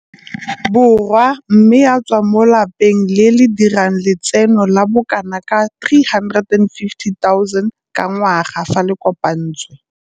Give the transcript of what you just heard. Borwa mme a tswa mo lapeng le le dirang letseno la bokanaka R350 000 ka ngwaga fa le kopantswe.